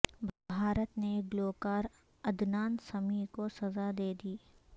بھارت نے گلوکار عدنان سمیع کو سزا دے دی